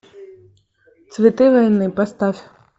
цветы войны поставь